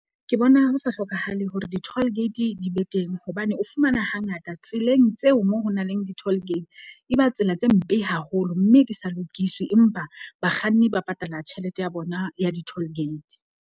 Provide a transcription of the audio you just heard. Ke bona ho sa hlokahale hore di-toll gate di be teng, hobane o fumana hangata tseleng tseo mo ho na leng di-toll gate. E ba tsela tse mpe haholo mme di sa lokiswe, empa bakganni ba patala tjhelete ya bona ya di-toll gate.